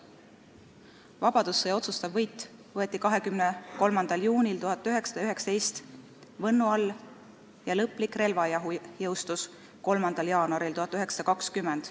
Vabadussõja otsustav võit võeti 23. juunil 1919 Võnnu all ja lõplik relvarahu jõustus 3. jaanuaril 1920.